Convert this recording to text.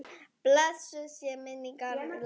Blessuð sé minning Einars Mýrdal.